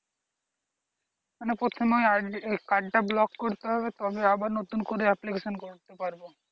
মানে প্রথমে id card টা ব্লক করতে হবে তবে আবার নতুন করে application করতে পারব।